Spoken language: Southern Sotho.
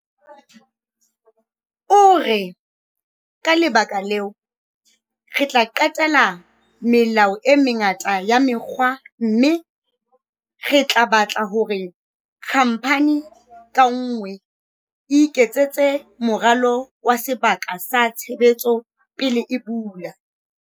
O re- "Ka lebaka leo, re tla qetela melao e mengata ya mekga mme re tla batla hore khamphani ka nngwe e iketsetse moralo wa sebaka sa tshebetso pele e bula."